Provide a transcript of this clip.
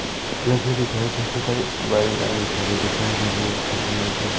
दिखाई दे रहे है सामनेही।